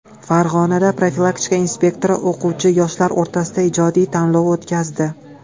Farg‘onada profilaktika inspektori o‘quvchi-yoshlar o‘rtasida ijodiy tanlov o‘tkazdi.